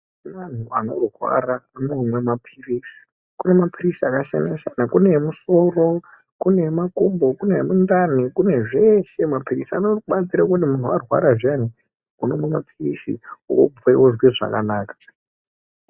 Vantu vanorwara vanomwe mapilizi Kune mapilizi akasiyana siyana kune emusoro kune Makumbo kune emundani kune zveshe mapilizi anobatsire kuti muntu warwara zviyani unomwe mapilizi wopwe wozwe zvakanaka.